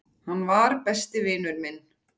Hann var. besti vinur minn.